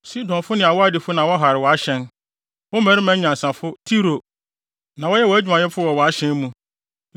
Sidonfo ne Arwadfo na wɔhare wʼahyɛn; wo mmarima anyansafo. Tiro, na wɔyɛ adwumayɛfo wɔ wʼahyɛn mu.